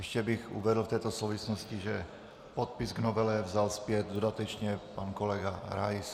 Ještě bych uvedl v této souvislosti, že podpis v novele vzal zpět dodatečně pan kolega Rais.